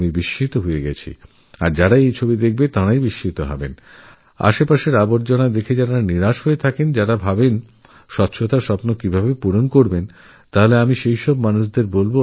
দেখে আমিঅবাক হয়ে গেছি এবং আমার মনে হয়েছে যাঁরা চারপাশের আবর্জনা দুর্গন্ধময় পরিবেশ দেখেহতাশ হয়ে পড়েছেন ভাবছেন এতো নোংরা পরিষ্কার করা কী করে সম্ভব তাঁরা এই চন্দ্রপুরকেল্লার ছবি দেখতে পারেন